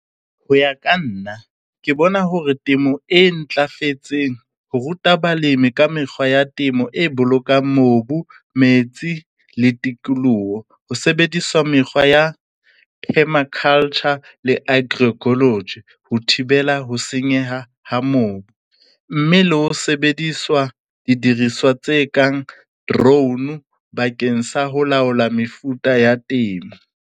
Ho ya ka nna ke bona hore temo e ntlafetseng ho ruta balemi ka mekgwa ya temo e bolokang mobu, metsi le tikoloho ho sebediswa mekgwa ya permaculture le agroecology ho thibela ho senyeha ha mobu, mme le ho sebediswa didiriswa tse kang drone bakeng sa ho laola mefuta ya temo.